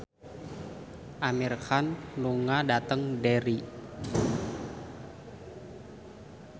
Amir Khan lunga dhateng Derry